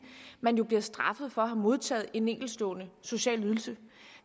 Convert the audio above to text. man jo bliver straffet for at have modtaget en enkeltstående social ydelse